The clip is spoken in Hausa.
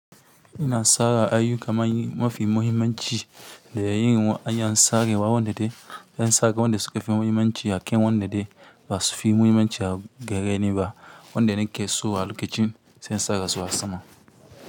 Ina tsara aiyuka mafi muhimmanci da yayin an tsare wa wanda dai an sake wanda suka fi muhimmanci a kan wanda dai ba su fi muhimmanci a gare ni ba, wanda nake so a lokacin sai in tsare su a sama.